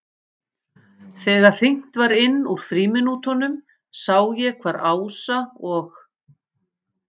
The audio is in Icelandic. Þegar hringt var inn úr frímínútunum sá ég hvar Ása og